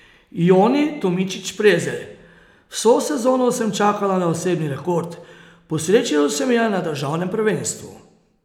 Joni Tomičič Prezelj: 'Vso sezono sem čakala na osebni rekord, posrečilo se mi je na državnem prvenstvu.